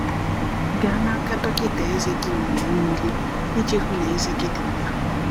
Gaa n’aka dọkịta ezé gị mgbe niile iji hụ na ezé gị dị mma.